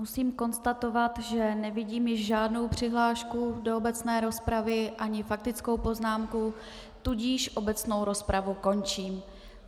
Musím konstatovat, že nevidím již žádnou přihlášku do obecné rozpravy ani faktickou poznámku, tudíž obecnou rozpravu končím.